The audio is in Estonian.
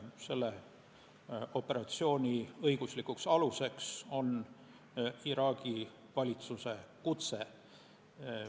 Selle operatsiooni õiguslik alus on Iraagi valitsuse kutse.